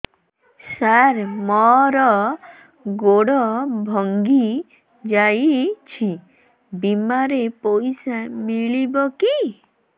ସାର ମର ଗୋଡ ଭଙ୍ଗି ଯାଇ ଛି ବିମାରେ ପଇସା ମିଳିବ କି